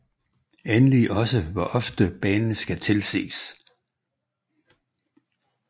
Endelig også hvor ofte banen skal tilses